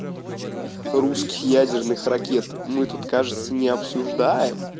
русский ядерных ракет мы тут кажется не обсуждаем